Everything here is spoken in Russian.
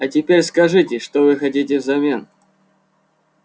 а теперь скажите что вы хотите взамен